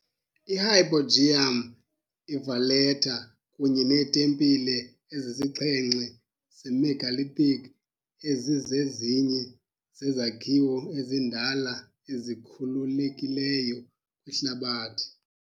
IHypogeum, iValletta, kunye neetempile ezisixhenxe ze-megalithic ezizezinye zezakhiwo ezindala ezikhululekileyo kwihlabathi.